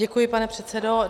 Děkuji, pane předsedo.